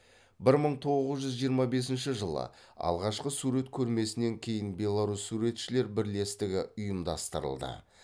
бір мың тоғыз жүз жиырма бесінші жылы алғашқы сурет көрмесінен кейін беларусь суретшілер бірлестігі ұйымдастырылды